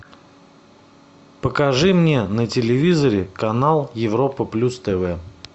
покажи мне на телевизоре канал европа плюс тв